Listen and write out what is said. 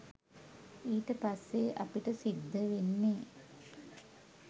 ඊට පස්සේ අපිට සිද්ධ වෙන්නේ